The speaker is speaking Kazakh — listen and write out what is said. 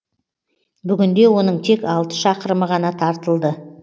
бүгінде оның тек алты шақырымы ғана тартылды